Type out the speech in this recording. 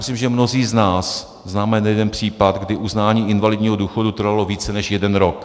Myslím, že mnozí z nás známe nejeden případ, kdy uznání invalidního důchodu trvalo více než jeden rok.